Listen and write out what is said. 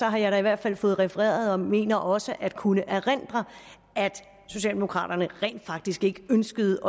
jeg da i hvert fald fået refereret og mener også at kunne erindre at socialdemokraterne rent faktisk ikke ønskede